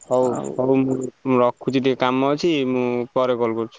ହଉ ହଉ ମୁଁ ରଖୁଛି ଟିକେ କାମ ଅଛି ମୁଁ ପରେ call କରୁଛି।